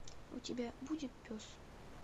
у тебя будет пес